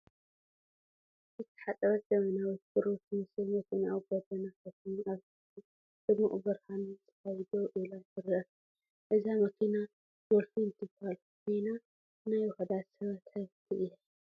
ዝተሓፅበት ዘመናዊት ብሩር ትመስል መኪና ኣብ ጎደና ከተማ ኣብ ትሕቲ ድሙቕ ብርሃን ጸሓይ ደው ኢላ ትርአ። እዛ መኪና ዶልፊን ትባሃል ኮይና ናይ ውሑዳት ሰብ ሃብቲ እያ፡፡